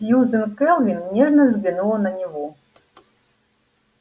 сьюзен кэлвин нежно взглянула на него